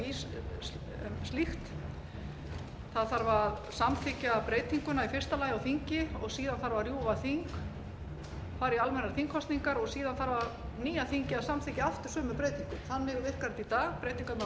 í slíkt það þarf að samþykkja breytinguna í fyrsta lagi á þingi og síðan þarf að rjúfa þing fara í almennar þingkosningar og síðan þarf nýja þingið að samþykkja aftur sömu breytingu þannig virkar þetta í dag breytingarnar á